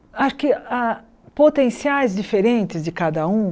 Há que há potenciais diferentes de cada um.